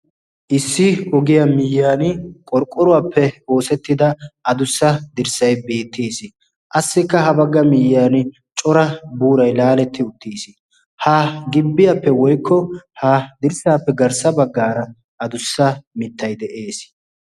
Issi ogiya miyyan qorqqoruwaappe oosettida adussa dirssay beettees. qassikka ha bagga miyyan cora buurai laaletti uttiis. ha gibbiyaappe woykko ha dirssaappe garssa baggaara adussa mittai de'ees.